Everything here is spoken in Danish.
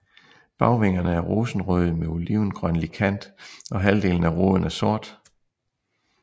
Bagvingerne er rosenrøde med olivengrønlig kant og halvdelen af roden er sort